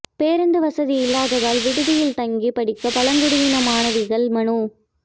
பேருந்து வசதி இல்லாததால் விடுதியில் தங்கி படிக்க பழங்குடியின மாணவிகள் மனு